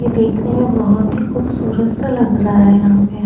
ये देखने में बहुत ही खूबसूरत सा लग रहा है यहां पे ।